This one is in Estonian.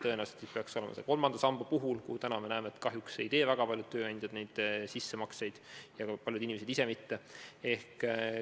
Tõenäoliselt peaks see olema eeskätt kolmanda samba puhul, kuhu praegu kahjuks väga paljud tööandjad sissemakseid ei tee ja ka paljud inimesed ise mitte.